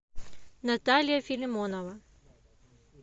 наталья филимонова